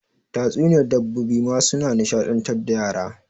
Tatsuniyar dabbobi ma suna nishaɗantar da yara.